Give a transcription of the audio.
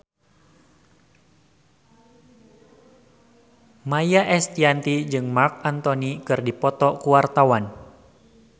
Maia Estianty jeung Marc Anthony keur dipoto ku wartawan